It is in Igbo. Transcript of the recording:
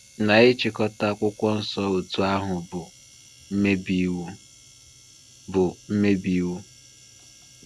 Na ịchịkọta akwụkwọ nsọ otú ahụ bụ mmebi iwu. bụ mmebi iwu.